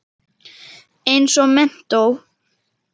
Eins og menntó.